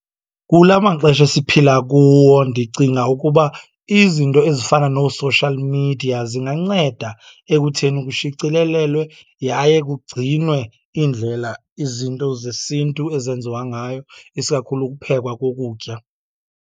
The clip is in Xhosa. Kula maxesha esiphila kuwo ndicinga ukuba izinto ezifana noo-social media zinganceda ekutheni kushicilelelwe yaye kugcinwe iindlela izinto zesintu ezenziwa ngayo, isikakhulu ukuphekwa kokutya.